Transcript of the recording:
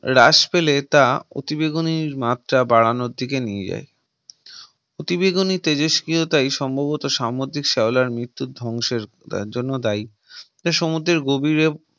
হ্রাস পেলে তা অতিবেগুনির মাত্রা বাড়ানোর দিকে নিয়ে যায় অতি বেগুনি তেজস্ক্রিয়তাই সম্ভবত সামুদ্রিক শ্যাওলার মৃত্যুর ধ্বংসের জন্য দায় সমুদ্রের গভীর